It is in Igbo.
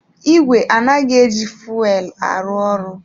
Ìgwè anaghị eji fuelu arụ ọrụ.